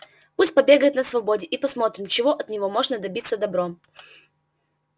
пусть побегает на свободе и посмотрим чего от него можно добиться добром